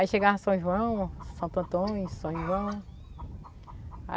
Aí chegava São João, São Antônio, São João.